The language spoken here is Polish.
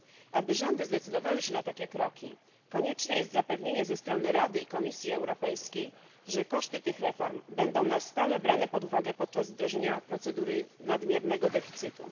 Aby rządy zdecydowały się na takie kroki, konieczne jest zapewnienie ze strony Rady i Komisji Europejskiej, że koszty tych reform będą na stałe brane pod uwagę podczas wdrożenia procedury nadmiernego deficytu.